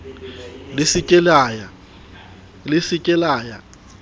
le se ke la ya